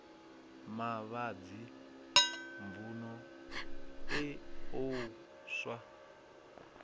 mavhadzi mvun eo u swa